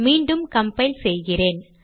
மீண்டும் கம்பைல் செய்கிறேன்